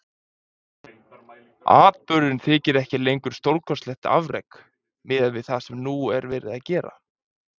Atburðurinn þykir ekki lengur stórkostlegt afrek miðað við það sem nú er verið að gera.